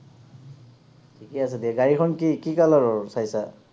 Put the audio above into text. ঠিকেই আছে দিয়া গাড়ীখন কি, কি color ৰ চাইছা?